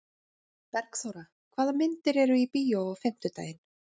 Bergþóra, hvaða myndir eru í bíó á fimmtudaginn?